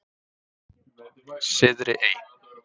Syðri Ey